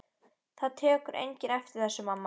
Það tekur enginn eftir þessu, mamma.